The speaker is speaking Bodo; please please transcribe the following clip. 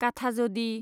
काठाजदि